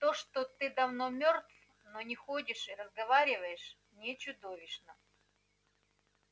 то что ты давно мёртв но не ходишь и разговариваешь не чудовищно